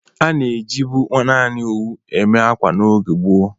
A na-ejibụ naanị owu eme akwa n’oge gboo